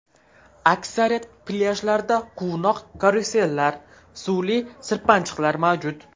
Aksariyat plyajlarda quvnoq karusellar, suvli sirpanchiqlar mavjud.